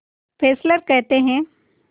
Fessler कहते हैं